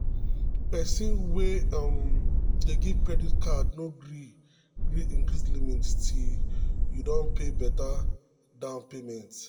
people wey join credit union talk say dia money matter don better wella.